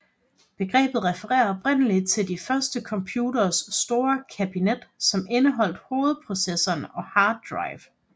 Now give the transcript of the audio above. Begrebet refererer oprindeligt til de første computeres store kabinet som indeholdt hovedprocessoren og hard drive